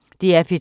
DR P3